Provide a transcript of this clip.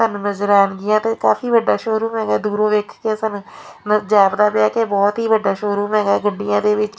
ਤੁਹਾਨੂੰ ਨਜ਼ਰ ਆਉਣਗੀਆਂ ਤੇ ਕਾਫੀ ਵੱਡਾ ਸ਼ੋਰੂਮ ਹੈਗਾ ਦੂਰੋਂ ਵੇਖ ਕੇ ਸਾਨੂੰ ਮਤਲਬ ਜੈਪਦਾ ਪਿਆ ਕਿ ਬਹੁਤ ਹੀ ਵੱਡਾ ਸ਼ੋਰੂਮ ਹੈਗਾ ਗੱਡੀਆਂ ਦੇ ਵਿੱਚ--